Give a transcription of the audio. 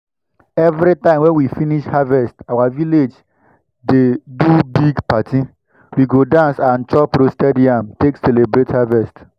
everytime wey we finish harvest our village dey do big party. we go dance and chop roasted yam take celebrate harvest.